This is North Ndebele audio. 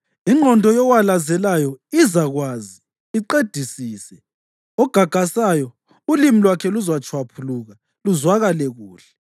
Ingqondo yowalazelayo izakwazi, iqedisise, ogagasayo ulimi lwakhe luzatshwaphuluka luzwakale kuhle.